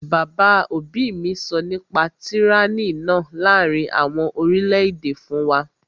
Bàbá òbí mi sọ nípa tyranny náà láàrin àwọn orílẹ̀-èdè fún wa